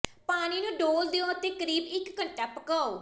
ਪਾਣੀ ਨੂੰ ਡੋਲ੍ਹ ਦਿਓ ਅਤੇ ਕਰੀਬ ਇਕ ਘੰਟਾ ਪਕਾਉ